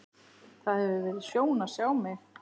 Það hefur verið sjón að sjá mig.